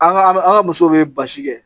An ga an ga musow bɛ basi kɛ.